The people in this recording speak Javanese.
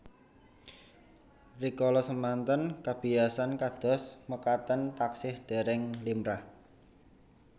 Rikala semanten kabiyasan kados mekaten taksih dèrèng limrah